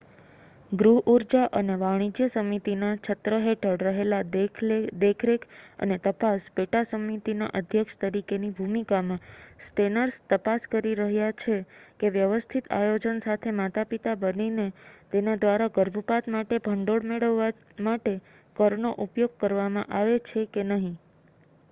ગૃહ ઉર્જા અને વાણિજ્ય સમિતિના છત્ર હેઠળ રહેલા દેખરેખ અને તપાસ પેટા-સમિતિના અધ્યક્ષ તરીકેની ભૂમિકામાં સ્ટેનર્સ તપાસ કરી રહ્યા છે કે વ્યવસ્થિત આયોજન સાથે માતા-પિતા બનીને તેના દ્વારા ગર્ભપાત માટે ભંડોળ મેળવવા માટે કરનો ઉપયોગ કરવામાં આવે છે કે નહીં